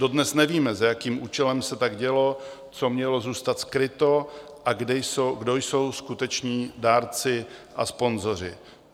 Dodnes nevíme, za jakým účelem se tak dělo, co mělo zůstat skryto a kdo jsou skuteční dárci a sponzoři.